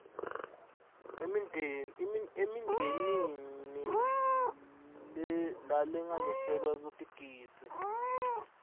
emindeni lalinganiselwa kutigidzi